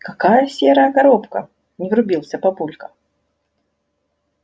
какая серая коробка не врубился папулька